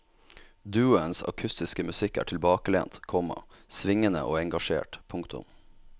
Duoens akustiske musikk er tilbakelent, komma svingende og engasjert. punktum